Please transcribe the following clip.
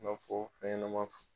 Ka fɔ fɛn ɲɛnɛma.